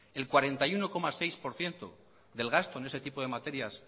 el cuarenta y uno coma seis por ciento del gasto en ese tipo de materias